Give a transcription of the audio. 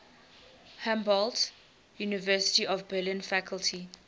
humboldt university of berlin faculty